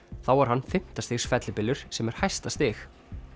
þá var hann fimmta stigs fellibylur sem er hæsta stig